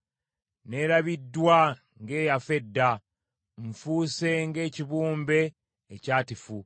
Nneerabiddwa ng’eyafa edda; nfuuse ng’ekibumbe ekyatifu.